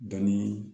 Bɛn ni